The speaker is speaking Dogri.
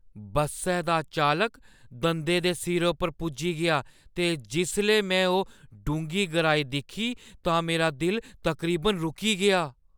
बस्सै दा चालक दंदे दे सिरे पर पुज्जी गेआ ते जिसलै में ओह् डूंह्‌गी गैह्‌राई दिक्खी तां मेरा दिल तकरीबन रुकी गेआ।